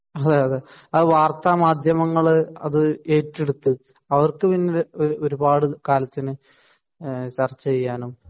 അതെയതെ അത് വാർത്ത മാധ്യമങ്ങൾ അത് ഏറ്റെടുത്തു അവർക്ക് പിന്നെ ഒരുപാട് കാലത്തിനു ചർച്ച ചെയ്യാനും